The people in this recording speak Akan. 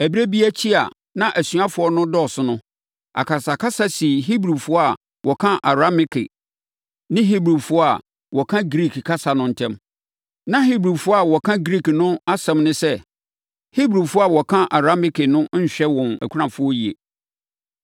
Ɛberɛ bi akyi a na asuafoɔ no redɔɔso no, akasakasa sii Hebrifoɔ a wɔka Arameike ne Hebrifoɔ a wɔka Griik kasa no ntam. Na Hebrifoɔ a wɔka Griik no no asɛm ne sɛ, Hebrifoɔ a wɔka Arameike no nhwɛ wɔn akunafoɔ yie.